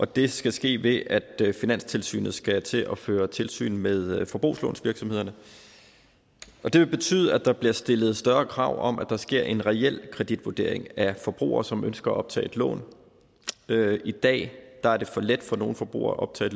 det skal ske ved at finanstilsynet skal til at føre tilsyn med forbrugslånsvirksomhederne det vil betyde at der bliver stillet større krav om at der sker en reel kreditvurdering af forbrugere som ønsker at optage lån i dag er det for let for nogle forbrugere at optage